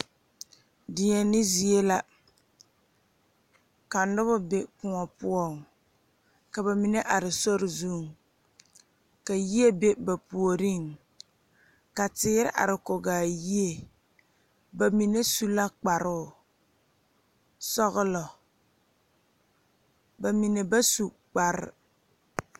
Deɛne zie la ka nobɔ be kõɔ poɔŋ ka ba mine are sori zuŋ ka yie be ba puoriŋ ka teere are kɔgaa yie ba mine su la kparoo sɔglɔ ba mine ba su kpare.